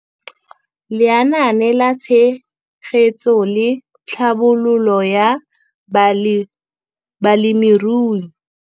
Lenaane la Tshegetso le Tlhabololo ya Balemirui.